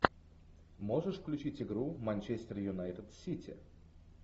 можешь включить игру манчестер юнайтед сити